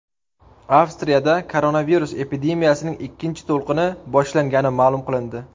Avstriyada koronavirus epidemiyasining ikkinchi to‘lqini boshlangani ma’lum qilindi.